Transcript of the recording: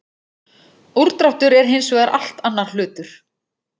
Úrdráttur er hins vegar allt annar hlutur.